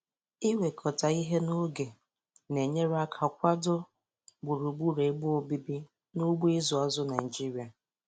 Iwekọta ihe n'oge na-enyere aka kwado gburugburu ebe obibi n' ugbo ịzụ azụ Naịjiria